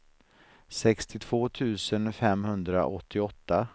sextiotvå tusen femhundraåttioåtta